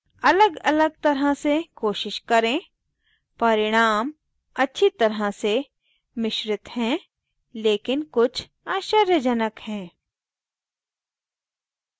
अलगअलग तरह से कोशिश करें परिणाम अच्छी तरह से मिश्रित हैं लेकिन कुछ आश्चर्यजनक हैं